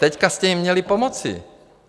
Teď jste jim měli pomoci.